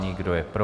Kdo je pro?